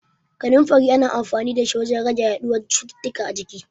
Kaninfari ana amfanin da shi wajen rage yaɗuwan cututtuka a jiki.